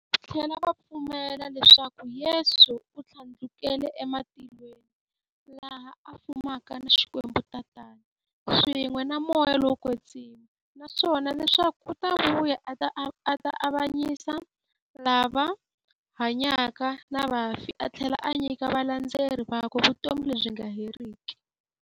Vathlela va pfumela leswaku Yesu u thlandlukele e matilweni, laha a fumaka na Xikwembu-Tatana, swin'we na Moya lowo kwetsima, naswona leswaku u ta vuya a ta avanyisa lava hanyaka na vafi athlela a nyika valandzeri vakwe vutomi lebyi nga heriki.